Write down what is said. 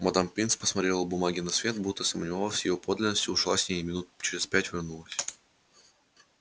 мадам пинс посмотрела бумаги на свет будто сомневалась в её подлинности ушла с ней и минут через пять вернулась